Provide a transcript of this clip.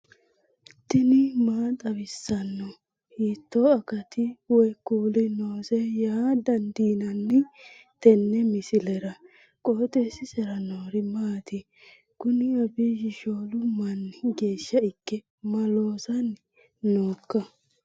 tini maa xawissanno ? hiitto akati woy kuuli noose yaa dandiinanni tenne misilera? qooxeessisera noori maati? kuni abiyi shoolu manni geeshsha ikke ma loosanni nooika